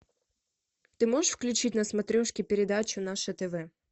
ты можешь включить на смотрешке передачу наше тв